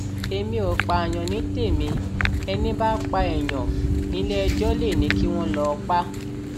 èmi ò pààyàn ni témi ẹni bá pa èèyàn níléẹjọ lè ní kí wọn lọọ pa